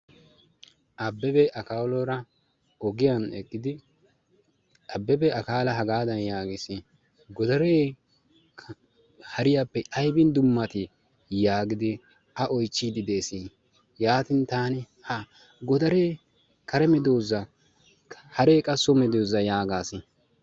Abebe, akaloora ogiyaan eqqidi, Abebe, Akala hagadan yaagees, godare hariyaape aybbin dummati? yaagiidi a oychchide dees. yaatin ta godaree kare medooza hare qassi so medoosa yaagaas.